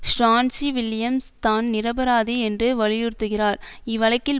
Stanley Williams தான் நிரபராதி என்று வலியுறுத்துகிறார் இவ்வழக்கில்